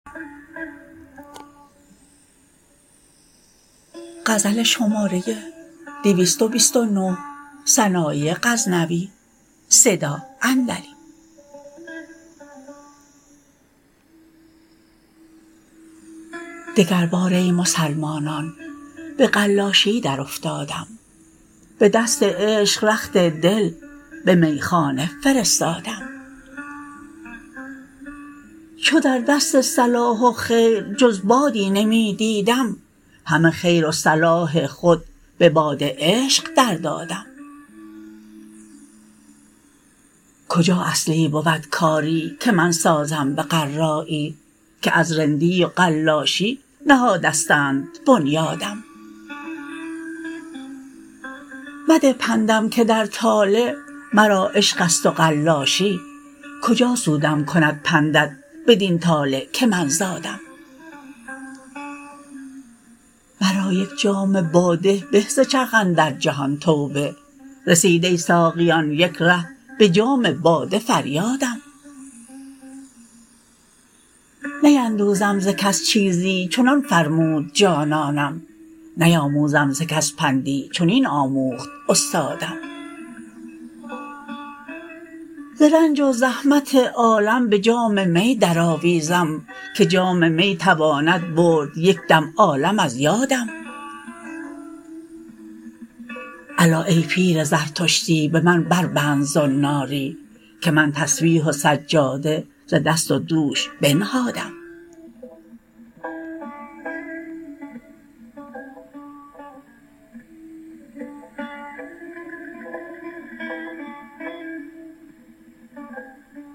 دگر بار ای مسلمانان به قلاشی در افتادم به دست عشق رخت دل به میخانه فرستادم چو در دست صلاح و خیر جز بادی نمی دیدم همه خیر و صلاح خود به باد عشق در دادم کجا اصلی بود کاری که من سازم به قرایی که از رندی و قلاشی نهادستند بنیادم مده پندم که در طالع مرا عشقست و قلاشی کجا سودم کند پندت بدین طالع که من زادم مرا یک جام باده به ز چرخ اندر جهان توبه رسید ای ساقیان یک ره به جام باده فریادم نیندوزم ز کس چیزی چنان فرمود جانانم نیاموزم ز کس پندی چنین آموخت استادم ز رنج و زحمت عالم به جام می در آویزم که جام می تواند برد یک دم عالم از یادم الا ای پیر زردشتی به من بربند زناری که من تسبیح و سجاده ز دست و دوش بنهادم